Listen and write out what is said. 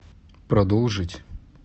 продолжить